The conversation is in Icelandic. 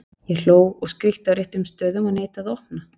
Ég hló og skríkti á réttum stöðum og neitaði að opna.